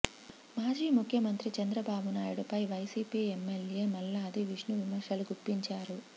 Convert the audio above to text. మాజీ ముఖ్యమంత్రి చంద్రబాబునాయుడుపై వైసీపీ ఎమ్మెల్యే మల్లాది విష్ణు విమర్శలు గుప్పించారు